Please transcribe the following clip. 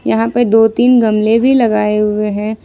यहां पे दो तीन गमले भी लगाए हुए हैं।